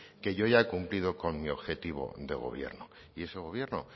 que yo ya he cumplido con mi objetivo de gobierno y ese gobierno